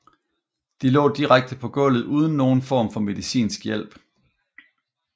De lå direkte på gulvet uden nogen form for medicinsk hjælp